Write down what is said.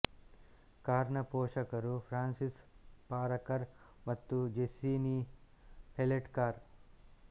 ಕಾರ್ನ ಪೋಷಕರು Francis Parker ಮತ್ತು ಜೆಸ್ಸಿ ನಿ ಹೆಲೆಟ್ ಕಾರ್